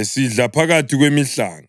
esidla phakathi kwemihlanga.